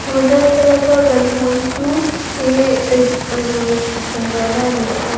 tuna thlalak a kan hmuh hi chu ihh chawhmeh zawrhna a ni a--